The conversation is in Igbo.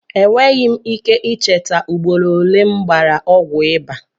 Enweghị m ike ị cheta ugboro ole m gbara ọgwụ ịbà.